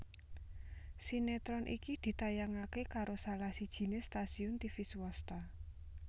Sinetron iki ditayangaké karo salah sijiné stasiun tivi swasta